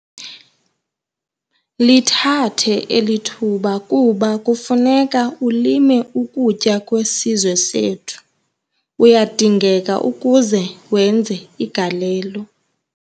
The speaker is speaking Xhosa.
Lithathe eli thuba kuba kufuneka ulime ukutya kwesizwe sethu - uyadingeka ukuze wenze igalelo.